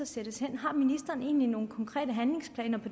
sendes hen har ministeren egentlig nogen konkrete handlingsplaner